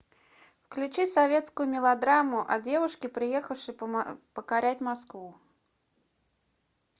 включи советскую мелодраму о девушке приехавшей покорять москву